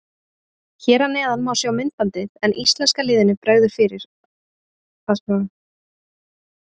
Hér að neðan má sjá myndbandið en íslenska liðinu bregður að sjálfsögðu fyrir.